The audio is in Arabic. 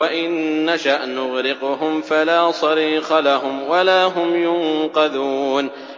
وَإِن نَّشَأْ نُغْرِقْهُمْ فَلَا صَرِيخَ لَهُمْ وَلَا هُمْ يُنقَذُونَ